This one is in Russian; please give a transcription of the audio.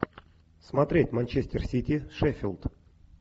смотреть манчестер сити шеффилд